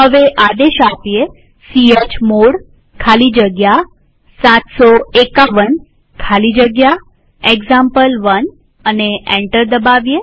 હવે આદેશ ચમોડ ખાલી જગ્યા 751 ખાલી જગ્યા એક્ઝામ્પલ1 લખીએ અને એન્ટર દબાવીએ